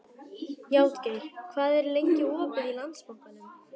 Játgeir, hvað er lengi opið í Landsbankanum?